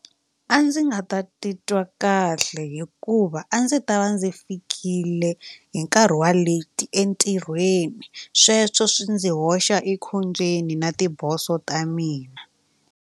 A ndzi nga ta titwa kahle hikuva a ndzi ta va ndzi fikile hi nkarhi wa leti entirhweni sweswo swi ndzi hoxa ekhombyeni na tiboso ta mina.